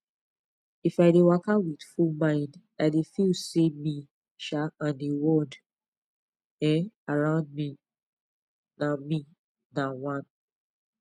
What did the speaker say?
if i dey waka with full mind i dey feel say me um and the world um around me na me na one